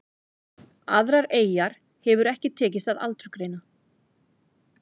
Aðrar eyjar hefur ekki tekist að aldursgreina.